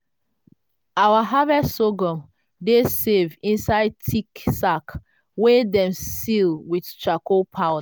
our harvest sorghum dey safe inside thick sack wey dem seal with charcoal powder.